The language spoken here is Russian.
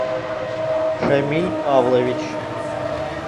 шамиль павлович